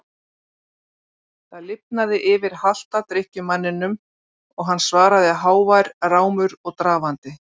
Það lifnaði yfir halta drykkjumanninum og hann svaraði hávær rámur og drafandi